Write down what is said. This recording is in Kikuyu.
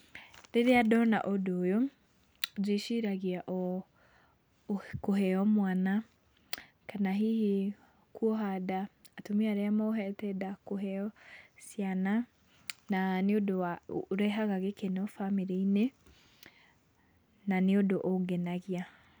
Rĩrĩa ndona ũndũ ũyũ ndĩciragai kũheo mwana kana hihi kwoha nda, atumia arĩa mohete nda kũheo ciana na nĩ ũndũ ũrehaga gĩkeno bamĩrĩ-inĩ na nĩ ũndũ ũngenagia.